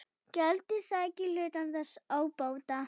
Gjaldið sæki hluta þess ábata.